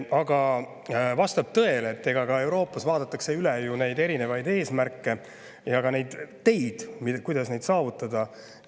Aga vastab tõele, et ka Euroopas vaadatakse üle neid erinevaid eesmärke ja ka teid, kuidas neid saavutada.